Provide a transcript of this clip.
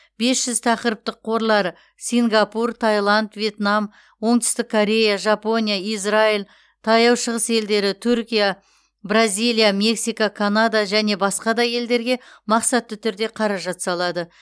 бес жүз тақырыптық қорлары сингапур таиланд вьетнам оңтүстік корея жапония израиль таяу шығыс елдері түркия бразилия мексика канада және басқа да елдерге мақсатты түрде қаражат салады